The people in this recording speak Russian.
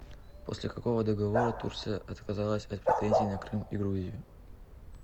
после какого договора турция отказалась от претензий на крым и грузию